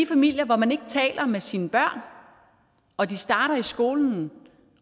familier hvor man ikke taler med sine børn og de starter i skolen